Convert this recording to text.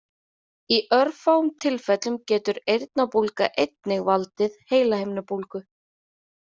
Í örfáum tilfellum getur eyrnabólga einnig valdið heilahimnubólgu.